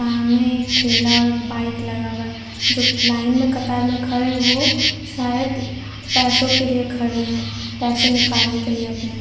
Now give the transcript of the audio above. सामने एक ठेला और बाइक लगा हुआ है। जो लाइन में कतर में खड़े है वो शायद पैसो के लिए खड़े है पैसे निकालने के लिए अपने --